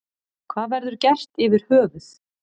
Hvað verður gert yfir höfuð.